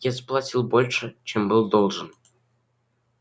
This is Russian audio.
я заплатил больше чем был должен